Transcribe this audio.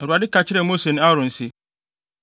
Awurade ka kyerɛɛ Mose ne Aaron se,